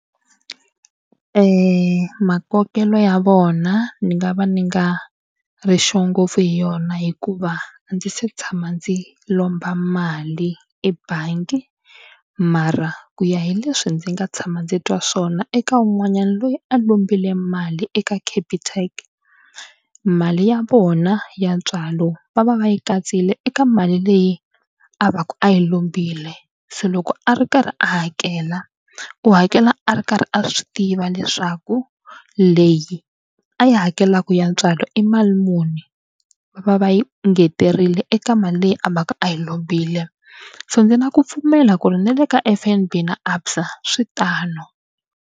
Makokelo ya vona ni nga va ni nga ri sure ngopfu hi yona hikuva a ndzi se tshama ndzi lomba mali ebangi mara ku ya hi leswi ndzi nga tshama ndzi twa swona eka wun'wanyana loyi a lombile mali eka Capitec. Mali ya vona ya ntswalo va va va yi katsile eka mali leyi a va ka a yi lombile se loko a ri karhi a hakela u hakela a ri karhi a swi tiva leswaku leyi a yi hakelaka ya ntswalo i mali muni va va va yi nghenelerile eka mali leyi a va ka a yi lombile so ndzi na ku pfumela ku ri ni le ka F_N_B na ABSA swi tano.